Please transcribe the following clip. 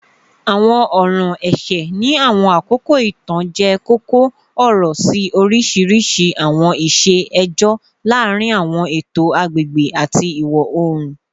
Awọn ọran ẹṣẹ ni awọn akoko itan jẹ koko-ọrọ si oriṣiriṣi awọn iṣe ẹjọ laarin awọn eto agbegbe ati iwọ-oorun